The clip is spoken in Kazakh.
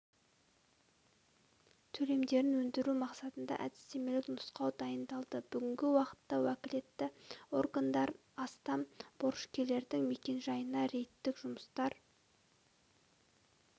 төлемдерін өндіру мақсатында әдістемелік нұсқау дайындалды бүгінгі уақытта уәкілетті органдар астам борышкердің мекенжайына рейдтік жұмыстар